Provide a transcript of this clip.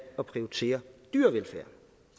at prioritere dyrevelfærd